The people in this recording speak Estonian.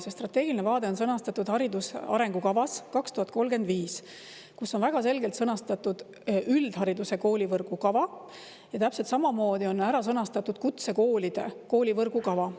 See strateegiline vaade on sõnastatud hariduse arengukavas 2035, kus on väga selgelt sõnastatud üldhariduse koolivõrgu kava ja täpselt samamoodi on ära sõnastatud kutsekoolide koolivõrgu kava.